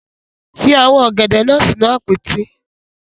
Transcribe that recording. Fi awọn ogede naa sinu apoti